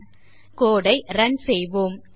இப்போது code ஐ run செய்வோம்